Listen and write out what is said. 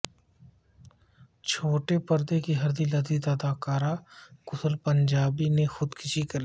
چھوٹے پردے کےہردل عزیز اداکار کشل پنجابی نے خودکشی کرلی